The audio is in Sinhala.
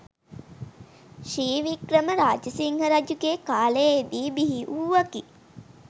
ශ්‍රී වික්‍රම රාජසිංහ රජුගේ කාලයේ දී බිහිවූවකි.